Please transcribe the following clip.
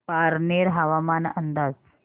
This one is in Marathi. पारनेर हवामान अंदाज